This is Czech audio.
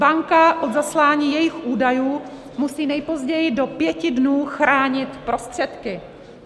Banka od zaslání jejich údajů musí nejpozději do pěti dnů chránit prostředky.